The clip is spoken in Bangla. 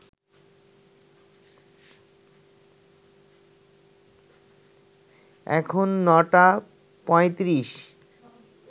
এখন নটা পঁয়ত্রিশ